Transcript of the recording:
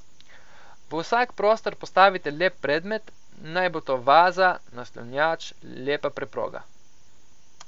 V vsak prostor postavite lep predmet, naj bo to vaza, naslonjač, lepa preproga.